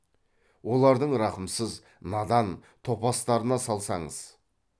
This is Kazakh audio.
олардың рақымсыз надан топастарына салсаңыз